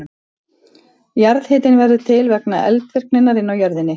Jarðhitinn verður til vegna eldvirkninnar inni í jörðinni.